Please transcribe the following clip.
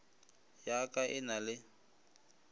ya ka e na le